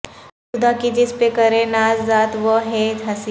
خدا کی جس پہ کرے ناز ذات وہ ہے حسین